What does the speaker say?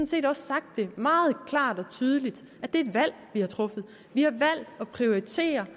set også sagt meget klart og tydeligt at det er et valg vi har truffet vi har valgt at prioritere